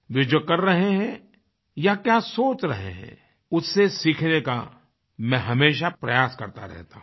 वे जो कर रहे हैं या क्या सोच रहे हैं उससे सीखने का मैं हमेशा प्रयास करता रहता हूँ